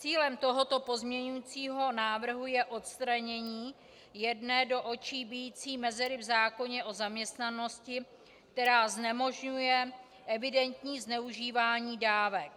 Cílem tohoto pozměňovacího návrhu je odstranění jedné do očí bijící mezery v zákoně o zaměstnanosti, která znemožňuje evidentní zneužívání dávek.